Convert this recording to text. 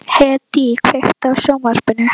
Hedí, kveiktu á sjónvarpinu.